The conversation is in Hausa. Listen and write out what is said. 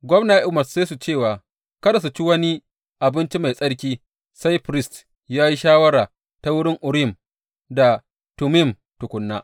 Gwamna ya umarce su cewa kada su ci wani abinci mai tsarki sai firist ya yi shawara ta wurin Urim da Tummim tukuna.